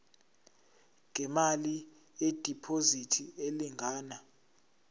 ngemali yediphozithi elingana